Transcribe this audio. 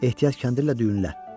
Ehtiyat kəndirlə düyünlə.